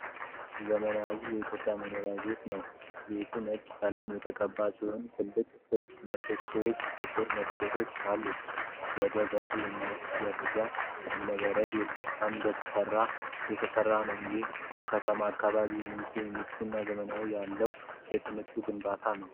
ዘመናዊ የኢትዮጵያ መኖሪያ ቤት ነው። ቤቱ ነጭ ቀለም የተቀባ ሲሆን፣ ትላልቅ ክብ ምሰሶዎችና ጥቁር መስኮቶች አሉት። ወደ በር የሚወስደው ደረጃ ከእብነ በረድ ድንጋይ የተሠራ ነው። ይህም በከተሞች አካባቢ የሚገኝ ምቾትና ዘመናዊነት ያለው የቅንጦት ግንባታ ነው።